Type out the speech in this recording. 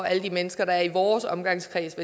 alle de mennesker der er i vores omgangskreds